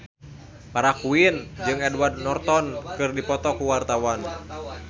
Farah Quinn jeung Edward Norton keur dipoto ku wartawan